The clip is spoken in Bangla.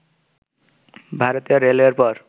ভারতীয় রেলওয়ের পর